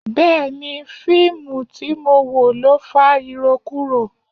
Bẹẹni, fíìmù tí mo wò ló fa irokuro.